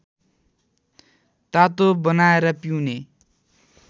तातो बनाएर पिउने